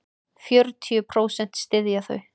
Fjörutíu prósent styðja þau.